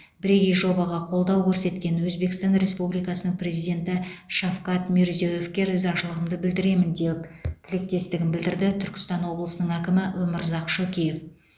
бірегей жобаға қолдау көрсеткен өзбекстан республикасының президенті шавкат мирзиеевке ризашылығымды білдіремін деп тілектестігін білдірді түркістан облысының әкімі өмірзақ шөкеев